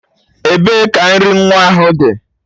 Ebee ka nri nwa ahụ dị?